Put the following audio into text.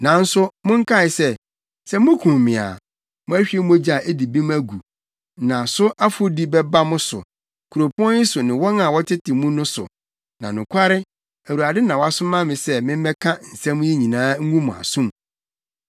Nanso monkae se, sɛ mukum me a, moahwie mogya a edi bem agu, na so afɔdi bɛba mo so, kuropɔn yi so ne wɔn a wɔtete mu no so; na nokware Awurade na wasoma me sɛ memmɛka nsɛm yi nyinaa ngu mo asom.”